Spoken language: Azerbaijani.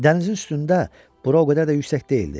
Dənizin üstündə bura o qədər də yüksək deyildi.